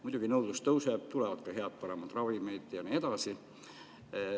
Muidugi nõudlus tõuseb, tulevad head, paremad ravimid ja nii edasi.